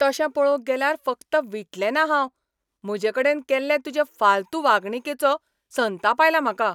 तशें पळोवंक गेल्यार, फकत विटलेंना हांव. म्हजेकडेन केल्ले तुजे फालतू वागणुकेचो संताप आयला म्हाका.